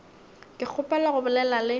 ke kgopela go bolela le